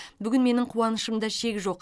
бүгін менің қуанышымда шек жоқ